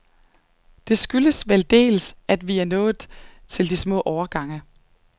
Det skyldes vel dels, at vi nået til de små årgange.